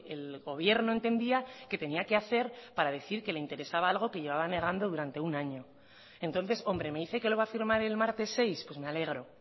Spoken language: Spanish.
el gobierno entendía que tenía que hacer para decir que le interesaba algo que llevaban negando durante un año entonces hombre me dice que lo va a firmar el martes seis pues me alegro